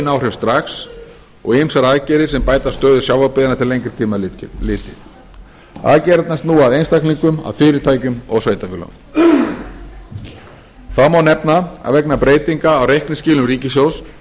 áhrif strax og ýmsar aðgerðir sem bæta stöðu sjávarbyggðanna til lengri tíma litið aðgerðirnar snúa að einstaklingum að fyrirtækjum og sveitarfélögum þá má nefna að vegna breytinga á reikningsskilum ríkissjóðs